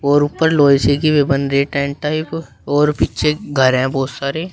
और ऊपर लोहे से की भी बन रही है टेंट टाइप और पीछे घर है बहुत सारे --